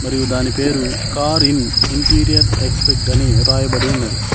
మరియు దాని పేరు కార్ ఇన్ ఇంటీరియర్ ఎక్స్పెక్ట్ అని రాయబడి ఉన్నది.